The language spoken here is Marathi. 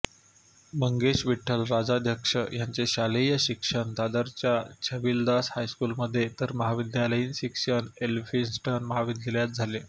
मंगेश विठ्ठल राजाध्यक्ष यांचे शालेय शिक्षण दादरच्या छबिलदास हायस्कूलमध्ये तर महाविद्यालयीन शिक्षण एलफिन्स्टन महाविद्यालयात झाले